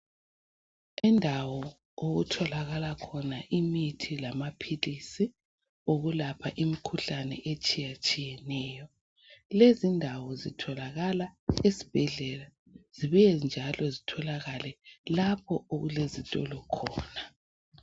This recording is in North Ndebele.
Indawo okutholakala khona imithi lamaphilisi okulapha imikhuhlane etshiyatshiyeneyo. Lezindawo zitholakala esibhedlela zibuye njalo zitholakale lapho okulezitolo khona.